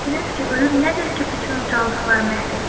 Siz dediniz ki, ölüm nədir ki, bütün ucalıqları məhv edir?